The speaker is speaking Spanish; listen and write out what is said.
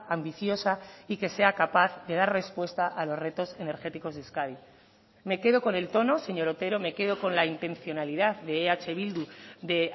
ambiciosa y que sea capaz de dar respuesta a los retos energéticos de euskadi me quedo con el tono señor otero me quedo con la intencionalidad de eh bildu de